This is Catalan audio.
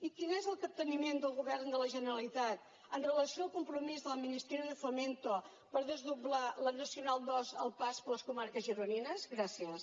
i quin és el capteniment del govern de la generalitat amb relació al compromís del ministerio de fomento per desdoblar la nacional ii al pas per les comarques gironines gràcies